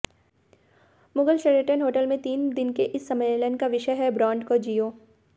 Mughal Sheraton hotel में तीन दिन के इस सम्मेलन का विषय है ब्रांड को जियो